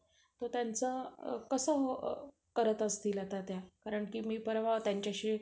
अच्च अठरा ते वीस मध्ये अं थोडा जर दोन चार पाच हजार फक्त budget वाडवळ तर oneplus मदीच तुम्हाला चांगला चांगलात model पैकी चांगला phone येऊ शकतो.